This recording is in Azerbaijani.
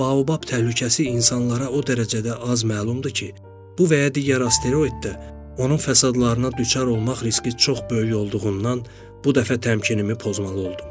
Amma baobab təhlükəsi insanlara o dərəcədə az məlumdur ki, bu və ya digər asteroiddə onun fəsadlarına düçar olmaq riski çox böyük olduğundan bu dəfə təmkinimi pozmalı oldum.